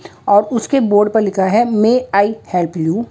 और उसके बोर्ड पर लिखा है मे आई हेल्प यू ।